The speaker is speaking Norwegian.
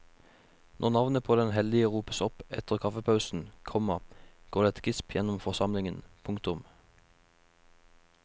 Når navnet på den heldige ropes opp etter kaffepausen, komma går det et gisp gjennom forsamlingen. punktum